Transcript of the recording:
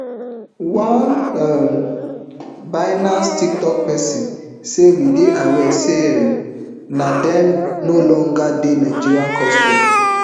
one um binance tiktok pesin say we dey aware say um na dem no longer dey nigerian custody